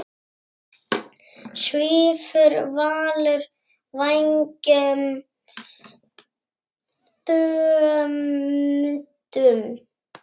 Svífur Valur vængjum þöndum?